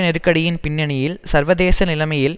நெருக்கடியின் பின்னணியில் சர்வதேச நிலைமையில்